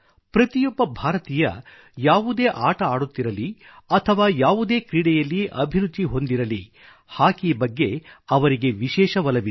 ಪ್ರತಿಯೊಬ್ಬ ಭಾರತೀಯ ಯಾವುದೇ ಆಟ ಆಡುತ್ತಿರಲಿ ಅಥವಾ ಯಾವುದೇ ಕ್ರೀಡೆಯಲ್ಲಿ ಅಭಿರುಚಿ ಹೊಂದಿರಲಿ ಹಾಕಿ ಬಗ್ಗೆ ಅವರಿಗೆ ವಿಶೇಷ ಒಲವಿದೆ